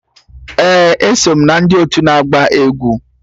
Ee, eso m na ndị otu ndị na-agba egwu